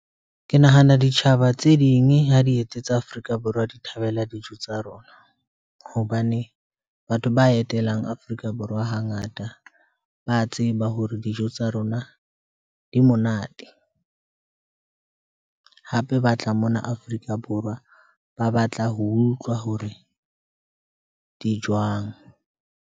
Ke nahana ditjhaba tse ding ha di etetse tsa Afrika Borwa, di thabela dijo tsa rona hobane batho ba etelang Afrika Borwa hangata ba tseba hore dijo ho tsa rona di monate. Hape ba tla mona Afrika Borwa ba batla ho utlwa hore di jwang.